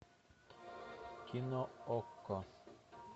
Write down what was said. кино окко